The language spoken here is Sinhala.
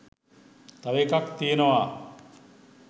තව එකක් තියෙනවා